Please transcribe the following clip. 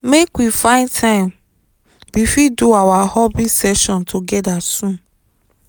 make we find time we fit do our hobby session together soon